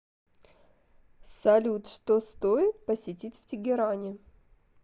салют что стоит посетить в тегеране